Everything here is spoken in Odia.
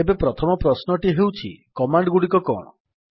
ଏବେ ପ୍ରଥମ ପ୍ରଶ୍ନଟି ହେଉଛି କମାଣ୍ଡ୍ ଗୁଡ଼ିକ କଣ